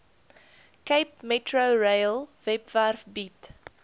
capemetrorail webwerf bied